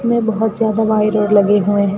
में बहुत ज्यादा वाई रॉड लगे हुए हैं।